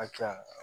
A ka ca